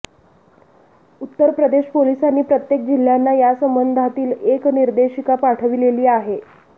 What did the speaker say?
उत्तरप्रदेश पोलिसांनी प्रत्येक जिल्ह्यांना यासंबंधातील एक निर्देशिका पाठविलेली आहे